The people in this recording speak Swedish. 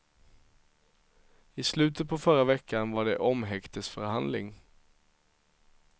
I slutet på förra veckan var det omhäktesförhandling.